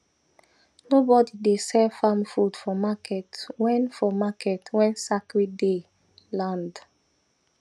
nobody dey sell farm food for market when for market when sacred day land